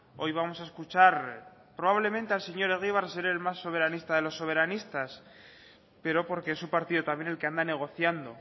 hoy vamos a escuchar probablemente al señor egibar ser el más soberanista de los soberanistas pero porque es su partido también el que anda negociando